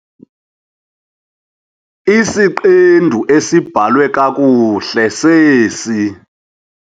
Isiqendu esibhalwe kakuhle sesi.